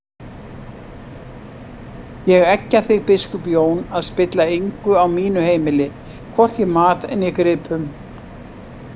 Ég eggja þig biskup Jón að spilla engu á mínu heimili, hvorki mat né gripum!